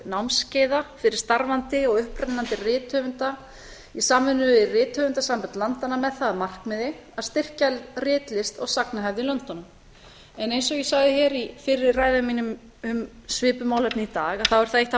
námskeiða fyrir starfandi og upprennandi rithöfunda í samvinnu við rithöfundasambönd landanna með það að markmiði að styrkja ritlist og sagnahefð í löndunum eins og ég sagði hér í fyrri ræðu minni um svipuð málefni í dag er það eitt af